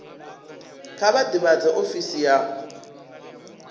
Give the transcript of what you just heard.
kha vha ḓivhadze ofisi ya